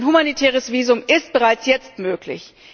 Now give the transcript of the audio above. Ein humanitäres Visum ist bereits jetzt möglich.